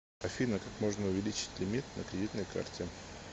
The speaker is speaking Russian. афина как можно увеличить лимит на кредитной карте